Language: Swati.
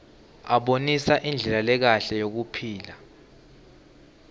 abonisa indlela lekahle yekuphila